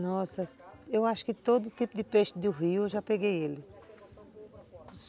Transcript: Nossa, eu acho que todo tipo de peixe do rio eu já peguei ele.